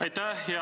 Aitäh!